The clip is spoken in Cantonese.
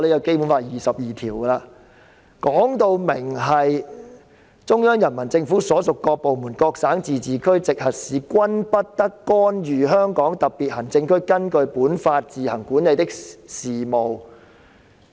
該條訂明："中央人民政府所屬各部門、各省、自治區、直轄市均不得干預香港特別行政區根據本法自行管理的事務。